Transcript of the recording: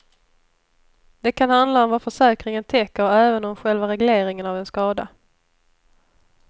Det kan handla om vad försäkringen täcker och även om själva regleringen av en skada.